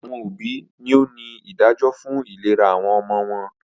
Awọn obi ni o ni idajọ fun ilera awọn ọmọ wọn